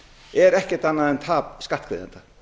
er ekkert annað en tap skattgreiðenda